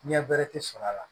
Ɲɛ bɛrɛ tɛ sɔrɔ a la